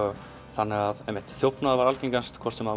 þannig að þjófnaður var algngastur hvort sem